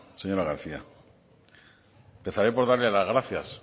señora garcía empezaré por darle las gracias